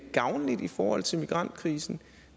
gavnlige i forhold til migrantkrisen